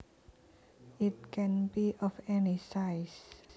It can be of any size